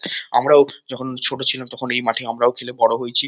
আমরা যখন ছোট ছিলাম তখন এই মাঠে আমরাও খেলে বড় হয়েছি।